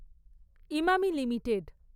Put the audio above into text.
Emami limited